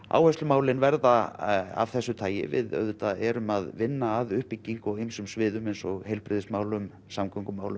áherslumálin verða að þessu tagi við auðvitað erum að vinna að uppbyggingu á ýmsum sviðum eins og heilbrigðismálum